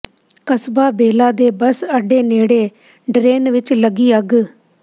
ਕਸਬਾ ਬੇਲਾ ਦੇ ਬੱਸ ਅੱਡੇ ਨੇੜੇ ਡਰੇਨ ਵਿੱਚ ਲੱਗੀ ਅੱਗ